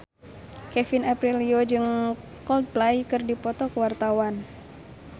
Kevin Aprilio jeung Coldplay keur dipoto ku wartawan